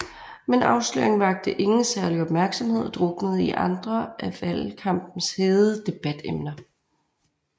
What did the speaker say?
Men afsløringen vakte ingen særlig opmærksomhed og druknede i andre af valgkampens hede debatemner